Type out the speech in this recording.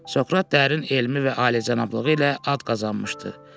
Sokrat dərin elmi və alicənablığı ilə ad qazanmışdı.